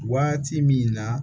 Waati min na